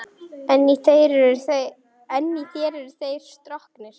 En í þér eru þeir stroknir.